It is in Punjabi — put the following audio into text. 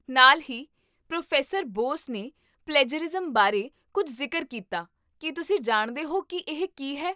ਨਾਲ ਹੀ, ਪ੍ਰੋ. ਬੋਸ ਨੇ ਪਲੈਜਰਿਜ਼ਮ ਬਾਰੇ ਕੁੱਝ ਜ਼ਿਕਰ ਕੀਤਾ, ਕੀ ਤੁਸੀਂ ਜਾਣਦੇ ਹੋ ਕੀ ਇਹ ਕੀ ਹੈ?